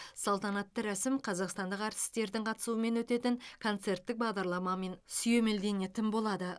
салтанатты рәсім қазақстандық әртістердің қатысуымен өтетін концерттік бағдарламамен сүйемелденетін болады